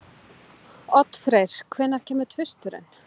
Oddfreyr, hvenær kemur tvisturinn?